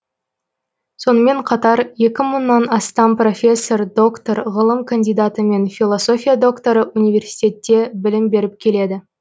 сонымен қатар екі мыңнан астам профессор доктор ғылым кандидаты мен философия докторы университетте білім беріп келеді